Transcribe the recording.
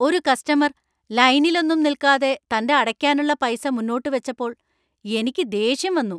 ഒരു കസ്റ്റമർ ലൈനിലൊന്നും നിൽക്കാതെ തന്‍റെ അടയ്ക്കാനുള്ള പൈസ മുന്നോട്ട് വച്ചപ്പോൾ എനിക്ക് ദേഷ്യം വന്നു.